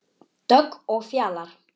Dögg og Fjalar.